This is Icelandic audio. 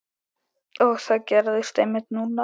Og það gerðist einmitt núna!